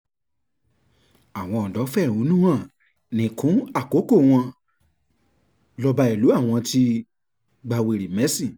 àwọn ọ̀dọ́ fẹ̀hónú hàn nìkún àkókò wọn lọba ìlú àwọn ti gba wèrè mẹ́sìn